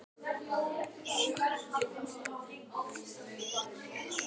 Hann langar til að verða einræðisherra.